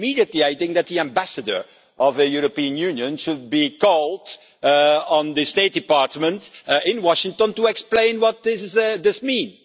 Immediately, I think that the Ambassador of the European Union would be called to the State department in Washington to explain what this means.